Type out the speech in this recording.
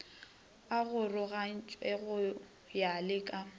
arogogantšwe go ya le ka